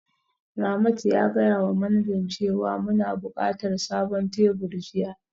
Ramat ya gaya wa manajan cewa muna buƙatar sabon tebur jiya